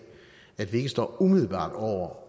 at vi ikke står umiddelbart over